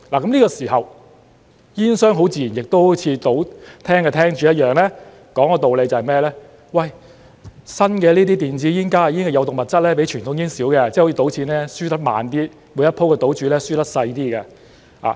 這時候，煙商很自然亦會如賭廳的廳主一樣說道理："這些新的電子煙、加熱煙的有毒物質比傳統煙少，即好像賭錢一樣，輸得慢一點，每一回的賭注會輸得少一點"。